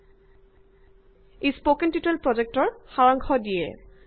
ইয়ে spoken tutorial প্ৰজেক্টৰ কথা চমুকৈ কৈছে